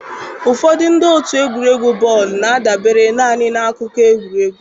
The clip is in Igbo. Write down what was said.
Ụfọdụ ndị otu egwuregwu bọọlụ na-adabere naanị na akụkọ egwuregwu.